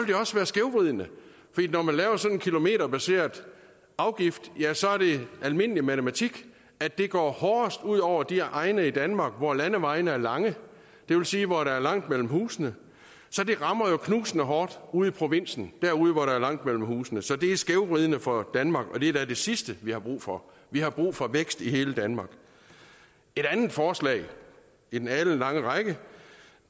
det også være skævvridende fordi når man laver sådan en kilometerbaseret afgift ja så er det almindelig matematik at det går hårdest ud over de egne i danmark hvor landevejene er lange det vil sige hvor der er langt mellem husene så det rammer jo knusende hårdt ude i provinsen derude hvor der er langt mellem husene så det er skævvridende for danmark og det er da det sidste vi har brug for vi har brug for vækst i hele danmark et andet forslag i den alenlange række